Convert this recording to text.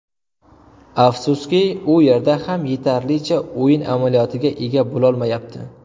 Afsuski, u yerda ham yetarlicha o‘yin amaliyotiga ega bo‘lolmayapti.